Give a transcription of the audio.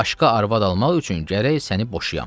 Başqa arvad almaq üçün gərək səni boşuyam.